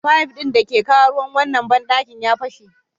Fayif ɗin da yake kawo ruwa wannan banɗakin ya fashe.